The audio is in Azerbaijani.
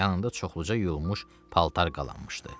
Yanında çoxluca yuyulmuş paltar qalanmışdı.